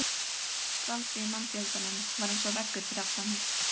Skvaldrið í mannfjöldanum var eins og veggur fyrir aftan mig.